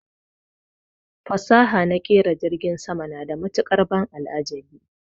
Fasaha naƙera jirgin sama na da matuƙar ban al'ajabi